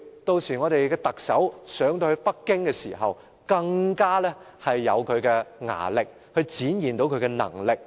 屆時，我們的特首上到北京，便更加有力量去展現出她的能力。